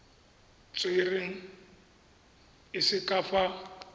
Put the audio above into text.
tserweng e se ka fa